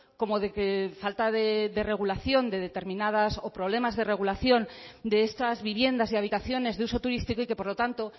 como problemas de regulación de estas viviendas y habitaciones de uso turístico y que por lo tanto